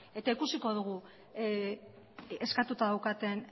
eta ikusiko dugu eskatuta daukaten